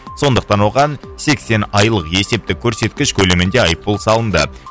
сондықтан оған сексен айлық есептік көрсеткіш көлемінде айыппұл салынды